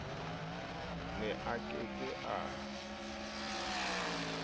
ne a ke ke a